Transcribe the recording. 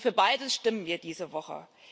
Und für beides stimmen wir diese Woche.